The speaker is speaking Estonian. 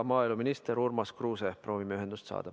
Maaeluminister Urmas Kruuse, proovime ühendust saada.